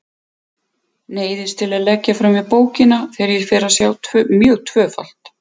Neyðist til að leggja frá mér bókina þegar ég fer að sjá mjög tvöfalt.